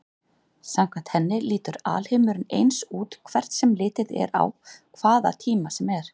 Samkvæmt henni lítur alheimurinn eins út hvert sem litið er á hvaða tíma sem er.